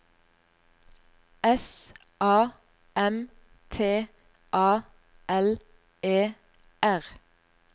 S A M T A L E R